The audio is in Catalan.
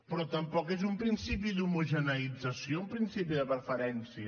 però tampoc és un principi d’homogeneïtzació un principi de preferència